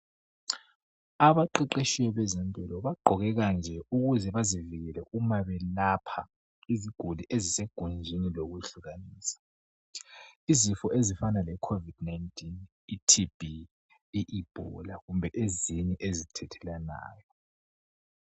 Abaqeqetshi bezempilakahle bagqoke kanje ukuze bazivikele uma belapha iziguli ezisegunjini lokuhlukanisa izifo ezifana lecovid 19, TB, Ebola kumbe ezinye ezithelelwanayo.